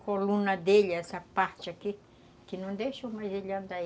A coluna dele, essa parte aqui, que não deixou mais ele andar.